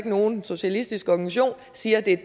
nogen socialistisk organisation siger at det er